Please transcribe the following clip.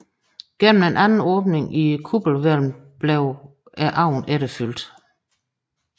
Gennem en anden åbning i kuppelhvælvet blev ovnen efterfyldt